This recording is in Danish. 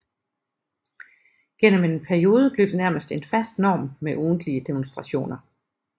Gennem en periode blev det nærmest en fast norm med ugentlige demonstrationer